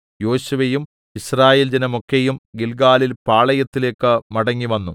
യോശുവയും യിസ്രായേൽ ജനമൊക്കെയും ഗില്ഗാലിൽ പാളയത്തിലേക്ക് മടങ്ങിവന്നു